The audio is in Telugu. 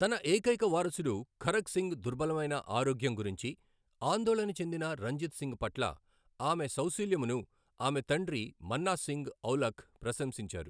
తన ఏకైక వారసుడు ఖరక్ సింగ్ దుర్బలమైన ఆరోగ్యం గురించి ఆందోళన చెందిన రంజిత్ సింగ్ పట్ల ఆమె సౌశీల్యమును ఆమె తండ్రి మన్నా సింగ్ ఔలఖ్ ప్రశంసించారు.